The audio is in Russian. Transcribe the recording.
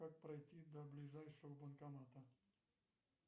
как пройти до ближайшего банкомата